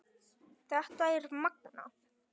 Þetta er magnað.